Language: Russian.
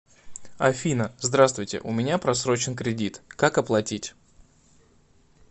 афина здравствуйте у меня просрочен кредит как оплатить